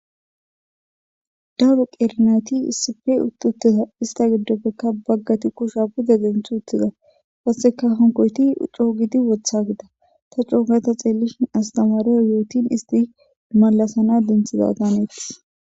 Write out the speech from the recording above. Dawuru qerenayti isife utt uttida ista giddopfekka baggati kusha buda denth uttida wotseka honkoyti coo gidi wotha gida ta coogata xeellishin astamari yootin isti malasana denthiza daneettis.